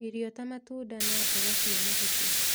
Irio ta matunda na mboga cia mahuti